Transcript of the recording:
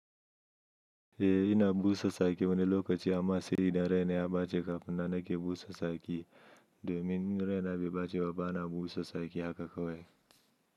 Eh ina busa saki wani lokaci amma sai idan raina ya bace kafin nan nake busa saki domin in raina bai baci ba bana busa saki haka kawai.